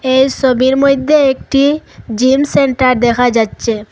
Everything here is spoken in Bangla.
এই সবির মইধ্যে একটি জিম সেন্টার দেখা যাচ্চে ।